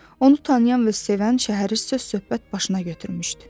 Onu tanıyan və sevən şəhəri söz-söhbət başına götürmüşdü.